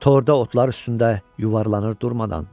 Torda otlar üstündə yuvarlanır durmadan.